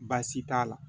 Baasi t'a la